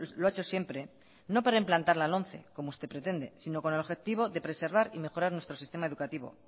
lo ha hecho siempre no para implantar la lomce como usted pretende sino con el objetivo de preservar y mejorar nuestro sistema educativo